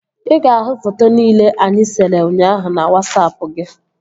Ị ga-ahụ foto nile anyị sere ụnyaahụ na Wasapụ gị